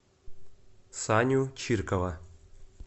саню чиркова